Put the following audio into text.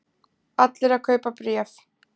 Allir að kaupa bréf